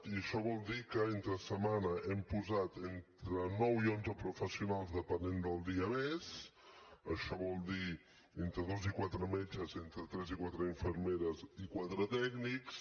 i això vol dir que entre setmana hem posat entre nou i onze professionals depenent del dia més això vol dir entre dos i quatre metges entre tres i quatre infermeres i quatre tècnics